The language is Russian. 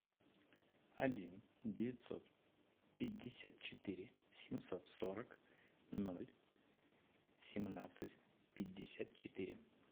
один девятьсот пятьдесят четыре семьсот сорок ноль семнадцать пятьдесят четыре